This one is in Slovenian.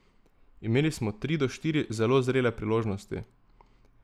Imeli smo tri do štiri zelo zrele priložnosti.